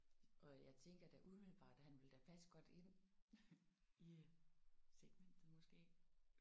Og jeg tænker da umiddelbart han ville da passe godt ind i segmentet måske